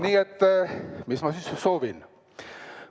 Nii et mis ma siis soovin?